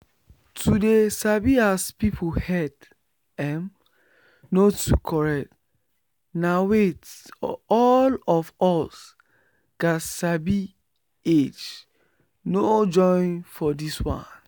to dey sabi as person head emm no too correct na weyth all of us gats sabi age no join for this one